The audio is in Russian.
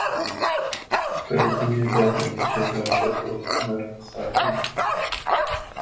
кажется не обязан отвечать на ваши вопросы мэр хардин